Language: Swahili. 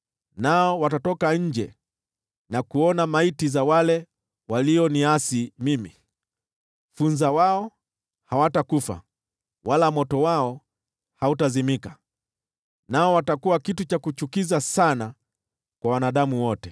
“Nao watatoka nje na kuona maiti za wale walioniasi mimi. Funza wao hawatakufa, wala moto wao hautazimika, nao watakuwa kitu cha kuchukiza sana kwa wanadamu wote.”